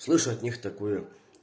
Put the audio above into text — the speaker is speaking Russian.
слышу от них такое